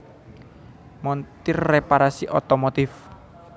Montir Reparasi Otomotif